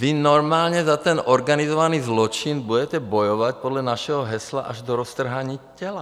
Vy normálně za ten organizovaný zločin budete bojovat podle našeho hesla až do roztrhání těla.